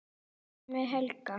Dæmi: Hekla